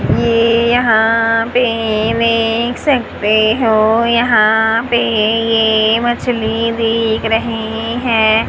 ये यहां पे देख सकते हो यहां पे ये मछली दिख रही हैं।